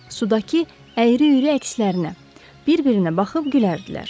Sudakı əyri-üyrü əkslərinə bir-birinə baxıb gülərdilər.